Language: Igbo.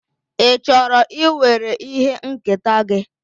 Ị chọrọ iwere ihe nketa gị?